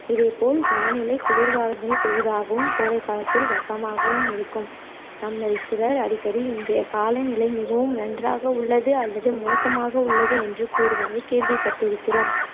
இதேபோல் வானிலை குளிர்காலங்களில் குளிராகவும் கோடைகாலத்தில் வெப்பமாகவும் இருக்கும் நம்மிள் சிலர் அடிக்கடி இன்றைய காலநிலை மிகவும் நன்றாக உள்ளது அல்லது மோசமாக உள்ளது என்று கூறுவதை கேள்விப்பட்டிருக்கிறோம்